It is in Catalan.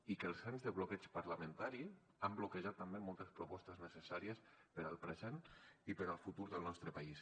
i que els anys de bloqueig parlamentari han bloquejat també moltes propostes necessàries per al present i per al futur del nostre país